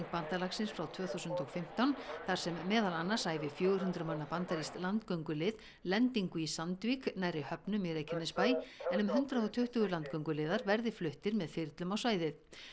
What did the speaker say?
bandalagsins frá tvö þúsund og fimmtán þar sem meðal annars æfi fjögur hundruð manna bandarískt landgöngulið lendingu í Sandvík nærri höfnum í Reykjanesbæ en um hundrað og tuttugu landgönguliðar verði fluttir með þyrlum á svæðið